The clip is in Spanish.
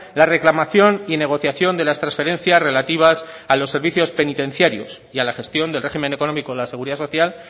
la reclamación y negociación de las transferencias relativas a los servicios penitenciarios y a la gestión del régimen económico de la seguridad social